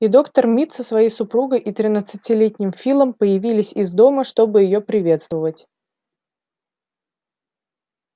и доктор мид со своей супругой и тринадцатилетним филом появились из дома чтобы её приветствовать